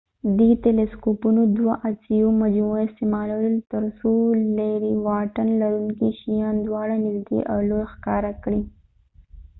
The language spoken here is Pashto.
دې تیلیسکوپونو د دوه عدسیو مجموعه استعمالوله تر څو لیرې واټن لرونکي شیان دواړه نژدې او لوي ښکاره کړي